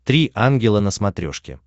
три ангела на смотрешке